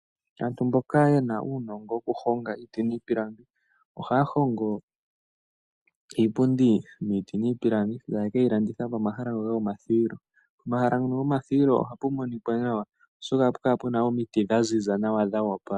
Aantu mboka ye na uunongo wokuhonga iiti niipilangi ohaya hongo iipundi miiti niipilangi taye ke yi landitha pomahala ngoka gomathuwilo. Pomahala ngono gomathuwilo ohapu monika nawa, oshoka ohapu kala pu na omiti dha ziza nawa dho opala.